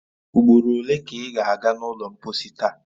Ugboro ole ka ị ga a ga n’ụlọ mposi taa?